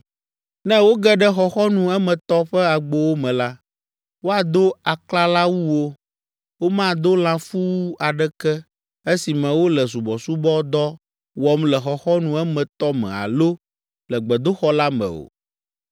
“ ‘Ne woge ɖe xɔxɔnu emetɔ ƒe agbowo me la, woado aklalawuwo, womado lãfuwu aɖeke esime wole subɔsubɔdɔ wɔm le xɔxɔnu emetɔ me alo le gbedoxɔ la me o.